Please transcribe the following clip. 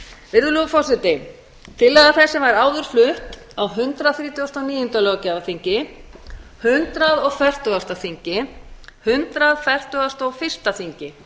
virðulegur forseti tillaga þessi var áður flutt á hundrað þrítugasta og níunda löggjafarþingi hundrað og fertugasta þingi hundrað fertugasta og fyrsta þingi